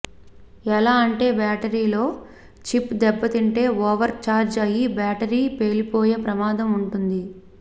ఎలా అంటే బ్యాటరీలో చిప్ దెబ్బతింటే ఓవర్ చార్జ్ అయి బ్యాటరీ పేలిపోయే ప్రమాదం ఉంటుంది